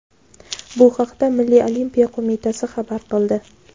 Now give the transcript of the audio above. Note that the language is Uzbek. Bu haqda Milliy olimpiya qo‘mitasi xabar qildi.